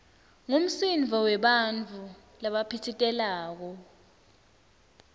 ngumsindvo webantfu labaphitsitelako